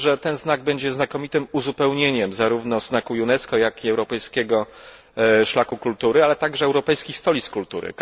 Myślę, że ten znak będzie znakomitym uzupełnieniem zarówno znaku UNESCO, jak i europejskiego szlaku kultury, ale także Europejskich Stolic Kultury.